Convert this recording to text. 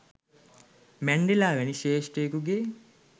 Mandela වැනි ශ්‍රේෂ්ඨයෙකුගේ